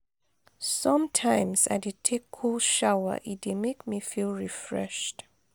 sometimes i dey take cold shower e dey make me feel refreshed.